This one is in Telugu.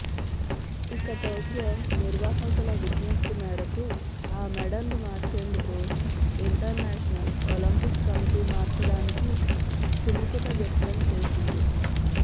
ఇక టోక్యో నిర్వాహకుల విజ్ఞప్తి మేరకు ఆ మెడల్ను మార్చేందుకు ఇంటర్నేషనల్ ఒలింపిక్ కమిటీ మార్చడానికి సుముఖత వ్యక్తం చేసింది